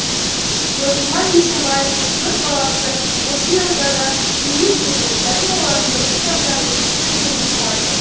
досымхан бейсенбаевтың төрт баласы осы елордада дүниеге келді және олардың нұр сұлтанда өсіп өнгенін қалайды